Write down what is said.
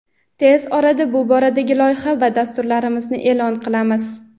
Tez orada bu boradagi loyiha va dasturlarimizni e’lon qilamiz.